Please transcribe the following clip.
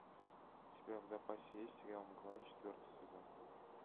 у тебя в запасе есть сериал мгла четвертый сезон